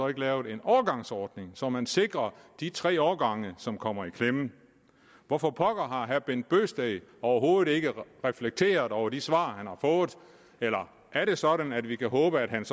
lavet en overgangsordning så man sikrer de tre årgange som kommer i klemme hvorfor pokker har herre bent bøgsted overhovedet ikke reflekteret over de svar han har fået eller er det sådan at vi kunne håbe at han